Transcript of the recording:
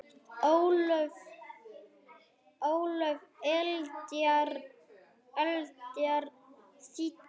Ólöf Eldjárn þýddi.